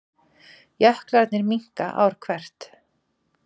Jöklarnir minnka ár hvert